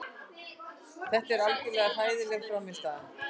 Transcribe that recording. Þetta var algjörlega hræðileg frammistaða.